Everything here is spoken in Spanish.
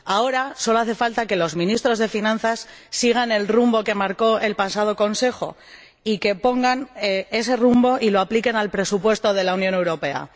Ahora solo hace falta que los ministros de finanzas sigan el rumbo que marcó el pasado Consejo y que pongan en práctica ese rumbo y lo apliquen al presupuesto de la Unión Europea.